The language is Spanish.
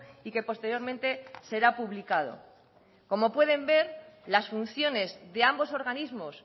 y que posteriormente será publicado como pueden ver las funciones de ambos organismos